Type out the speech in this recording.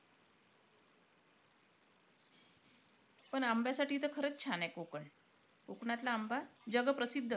पण आंब्यासाठी तर खरंच छान आहे कोकण. कोकणातला आंबा जग प्रसिद्ध आहे.